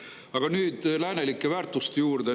Aga nüüd läänelike väärtuste juurde.